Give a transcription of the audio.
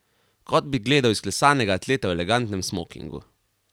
Kot bi gledal izklesanega atleta v elegantnem smokingu.